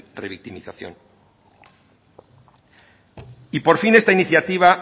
revictimización y por fin esta iniciativa